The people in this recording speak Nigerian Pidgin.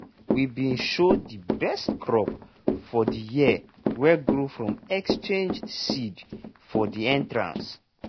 we bin show de best crop for de year wey grow from exchanged seed for de entrance.